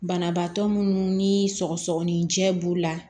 Banabaatɔ munnu ni sɔgɔsɔgɔninjɛ b'u la